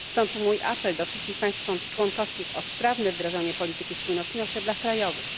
Stąd mój apel do wszystkich państw członkowskich o sprawne wdrażanie polityki spójności na szczeblach krajowych.